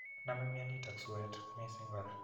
Name minanotok suet missing kora